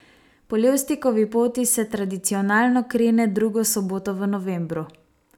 Po Levstikovi poti se tradicionalno krene drugo soboto v novembru.